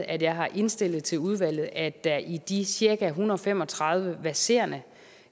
at jeg har indstillet til udvalget at der i de cirka en hundrede og fem og tredive verserende